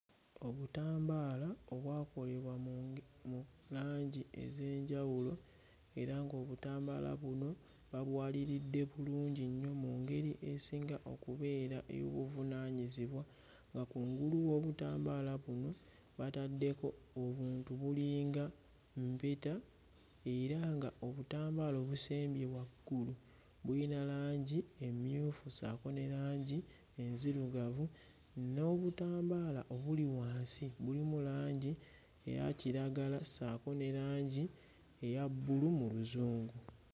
Obutambaala obwakolebwa mu mu langi ez'enjawulo era ng'obutambaala buno babwaliridde bulungi nnyo mu ngeri esinga okubeera ey'obuvunaanyizibwa nga kungulu w'obutambaala buno bataddeko obuntu bulinga mpeta era nga obutambaala obusembye waggulu buyina langi emmyufu ssaako ne langi enzirugavu, n'obutambaala obuli wansi bulimu langi eya kiragala ssaako ne langi eya bbulu mu Luzungu.